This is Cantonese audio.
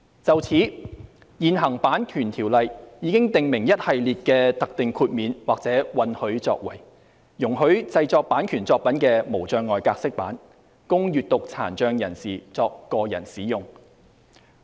就此，現行《版權條例》已訂明一系列的特定豁免或允許作為，容許製作版權作品的"無障礙格式版"，供閱讀殘障人士作個人使用。